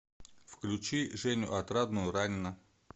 включи женю отрадную ранена